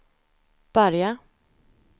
börja